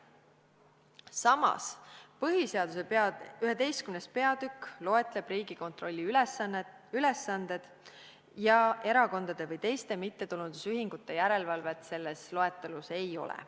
Samas põhiseaduse 11. peatükk loetleb Riigikontrolli ülesanded ja erakondade või teiste mittetulundusühingute järelevalvet selles loetelus ei ole.